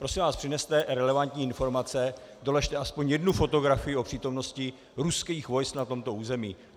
Prosím vás, přineste relevantní informace, doložte aspoň jednu fotografii o přítomnosti ruských vojsk na tomto území.